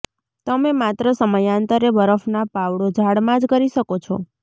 તમે માત્ર સમયાંતરે બરફના પાવડો ઝાડમાં જ કરી શકો છો